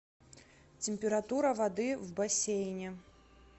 температура воды в бассейне